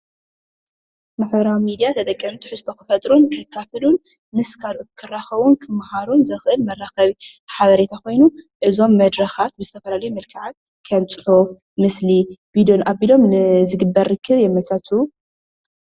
ማሕበራዊ ሚድያ ተጠቀምቲ ትሕዝቶ ክፈጥሩን ከካፍሉን ምስ ካልኦት ክራኽቡን ክመሃሩን ዘክእል መራኸቢ ሓበሬታ ኮይኑ እዞም መድረኻት ብዝተፈላለዩ መልከዓት ከም ፅሑፍ፣ ምስሊ፣ ቪድዮን ኣቢሎም ዝግበር ርክብ የመቻችዉ ።